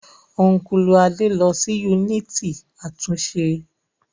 Ọ́nkùlù Adé lọ sí yúnìtì àtúnṣe